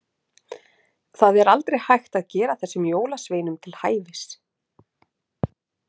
Það er aldrei hægt að gera þessum jólasveinum til hæfis.